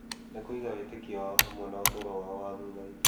Nĩ kũiga wĩtĩkio wao hamwe na ũtũũro wao wa thutha-inĩ.